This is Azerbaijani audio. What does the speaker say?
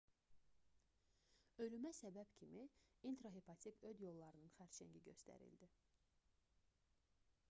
ölümə səbəb kimi intrahepatik öd yollarının xərçəngi göstərildi